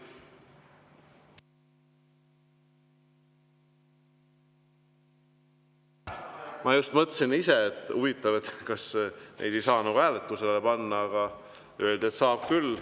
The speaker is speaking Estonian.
Ma just ise mõtlesin, et huvitav, kas neid ei saa hääletusele panna, aga öeldi, et saab küll.